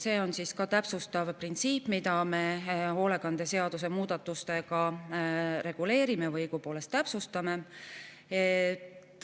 See on ka täpsustav printsiip, mida me hoolekande seaduse muudatustega reguleerime või õigupoolest täpsustame.